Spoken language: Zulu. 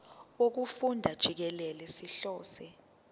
wokufunda jikelele sihlose